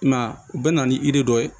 I m'a ye u bɛ na ni dɔ ye